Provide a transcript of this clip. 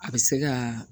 A bɛ se ka